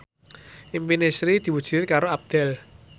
impine Sri diwujudke karo Abdel